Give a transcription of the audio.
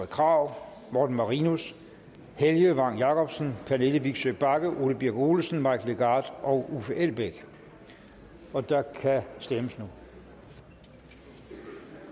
krag morten marinus helge vagn jacobsen pernille vigsø bagge ole birk olesen mike legarth og uffe elbæk og der kan stemmes nu